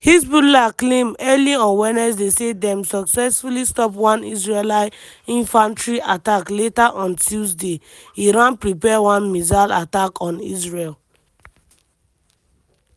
hezbollah claim early on wednesday say dem successfully stop one israeli infantry attack later on tuesday iran prepare one missile attack on israel: